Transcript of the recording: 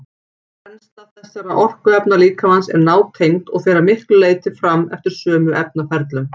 Brennsla þessara orkuefna líkamans er nátengd og fer að miklu leyti fram eftir sömu efnaferlum.